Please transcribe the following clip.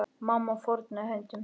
Mamma fórnaði höndum.